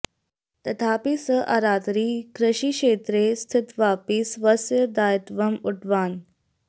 तथापि सः आरात्रि कृषिक्षेत्रे स्थित्वापि स्वस्य दायित्वम् ऊढवान्